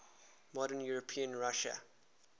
modern european russia